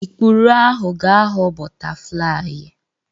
Ikpuru ahụ ga-aghọ bọtaflai.